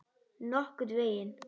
Nokkurn veginn.